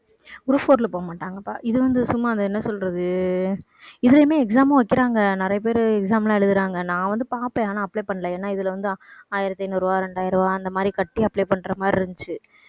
group four ல போகமாட்டாங்கப்பா. இது வந்து சும்மா என்ன சொல்றது இதுலையுமே exam மும் வைக்கிறாங்க, நிறைய பேர் exam எல்லாம் எழுதுறாங்க. நான் வந்து பார்ப்பேன் ஆனால் apply பண்ணலை. ஏன்னா இதுல வந்து ஆயிரத்தி ஐநூறு ரூபாய் ரெண்டாயிரம் ரூபாய் அந்த மாதிரி கட்டி apply பண்ற மாதிரி இருந்துச்சு.